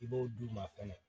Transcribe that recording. I b'o d'u ma fɛnɛ